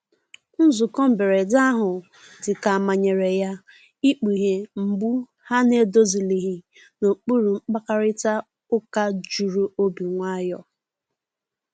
Nzụko mgberede ahụ dika a manyere ya, ịkpughe mgbụ ha na‐edozilighi n'okpuru mkparịta uka juru n'obi nwayo.